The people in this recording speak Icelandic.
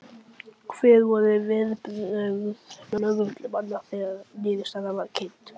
Hver voru viðbrögð lögreglumanna þegar að niðurstaðan var kynnt?